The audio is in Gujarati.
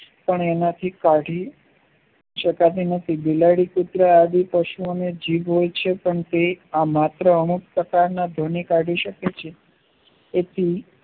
પણ એનાથી કાઢી શકાતું નથી બિલાડી કુતરા આદિ પક્ષી ઓને જીભ હોય છે કેમ કે આ માંત્ર અમુક ટાકા ના ભય ને કાઢી શકે છે એથી